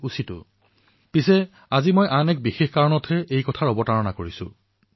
কিন্তু আজি এক বিশেষ উপলক্ষ মই আপোনালোকৰ সন্মুখত প্ৰস্তুত কৰিবলৈ বিচাৰিছো